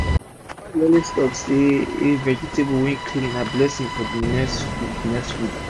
my mama dey always talk say vegetable wey clean na blessing for d next fud next fud